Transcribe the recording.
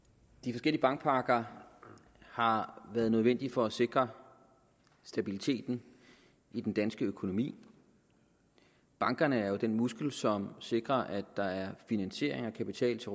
de forskellige bankpakker har været nødvendige for at sikre stabiliteten i den danske økonomi bankerne er jo den muskel som sikrer at der er finansiering og kapital til